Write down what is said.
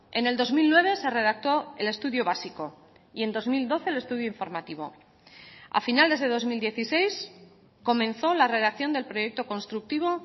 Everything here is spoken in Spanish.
en el dos mil nueve se redactó el estudio básico y en dos mil doce el estudio informativo a finales de dos mil dieciséis comenzó la redacción del proyecto constructivo